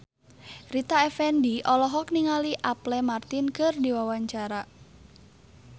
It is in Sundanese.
Rita Effendy olohok ningali Apple Martin keur diwawancara